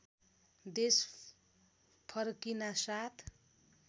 देश फर्किनासाथ